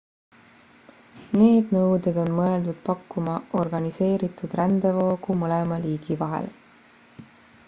need nõuded on mõeldud pakkuma organiseeritud rändevoogu mõlema riigi vahel